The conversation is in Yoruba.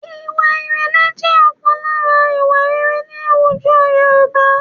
Ìwà ìrẹ̀lẹ̀ jẹ́ ọ̀kan lára ìwà rere ní àwùjọ Yorùbá